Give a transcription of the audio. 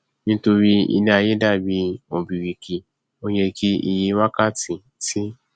nítorí iléaiyé dàbí ọbìrìkì o yẹ kí iye wákàtí tí